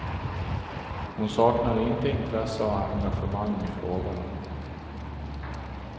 Hon saknar inte intresse och engagemang i frågorna.